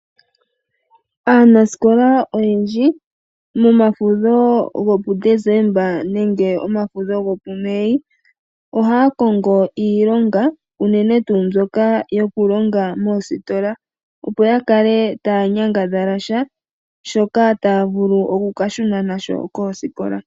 Aanasikola oyendji momafudho go puDesemba nenge omafudho go puMei ohaya kongo iilonga unene tuu mbyoka yokulonga moositola opo ya kale taya nyangadhala sha ,shoka taya vulu okuka shuna nasho kosikola.